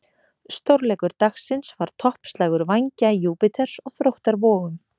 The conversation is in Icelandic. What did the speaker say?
Stórleikur dagsins var toppslagur Vængja Júpíters og Þróttar Vogum.